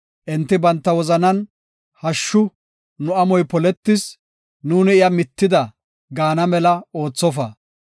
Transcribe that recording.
Enti banta wozanan, “Hashshu, nu amoy poletis; nuuni iya mittida” gaana mela oothofa.